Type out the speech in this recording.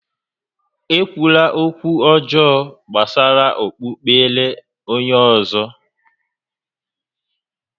E kwula ókwú ọjọọ gbásárá okpukpere onyé ọ̀zọ́!